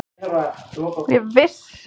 Mér þykja þeir ekkert skemmtilegir